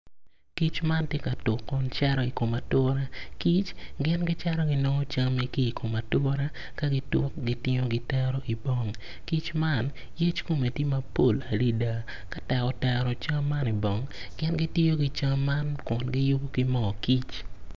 Kic man tye ka tuk kun cito i kom ature kic gin gicito ginongo cam ki i kom ature ka gitu gitero i bong kic man yec kome tye mapol adada ka tek otero cam man i bong, gin gitiyo ki cam man kun giyubo ki moo kic.